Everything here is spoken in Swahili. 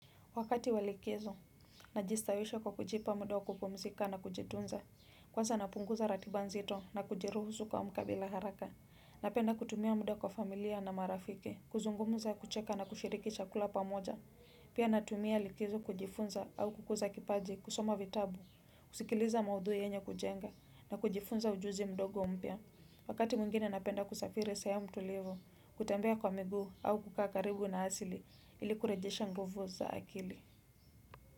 Wakati wa likizo, najistawisha kwa kujipa muda wa kupumzika na kujitunza. Kwanza napunguza ratib nzito na kujiruhusu kuamka bila haraka. Napenda kutumia muda kwa familia na marafiki kuzungumza kucheka na kushiriki chakula pamoja. Pia natumia likizo kujifunza au kukuza kipaji kusoma vitabu, kusikiliza maudhui yenye kujenga na kujifunza ujuzi mdogo mpya. Wakati mwingine napenda kusafiri sehemu tulivu kutembea kwa miguu au kukaa karibu na asili ili kurejesha nguvu za akili.